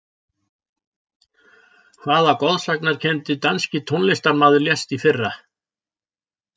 Hvaða goðsagnakenndi danski tónlistarmaður lést í fyrra?